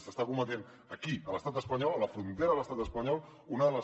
s’està cometent aquí a l’estat espanyol a la frontera a l’estat espanyol una de les